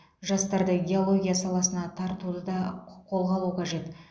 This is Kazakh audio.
жастарды геология саласына тартуды да қолға алу қажет